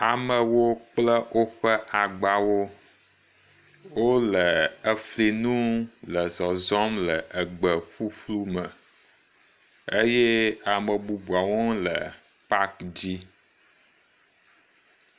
Amewo kple woƒe agbawo wole efiẽnu le zɔzɔm le egbe ƒuƒlu me eye ame bubuawo hã wole paki dzi